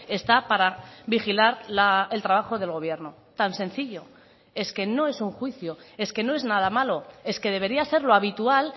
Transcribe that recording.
está para vigilar el trabajo del gobierno tan sencillo es que no es un juicio es que no es nada malo es que debería ser lo habitual